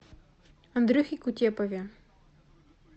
андрюхе кутепове